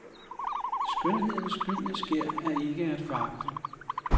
Skønhedens gyldne skær er ikke at foragte.